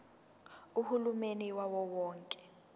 uhulumeni wawo wonke